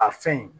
A fɛn in